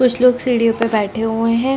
कुछ लोग सीढ़ियों पे बैठे हुए हैं।